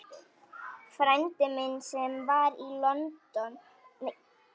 Frændi minn, sem var í London, er að reyna að kippa hlutunum í lag.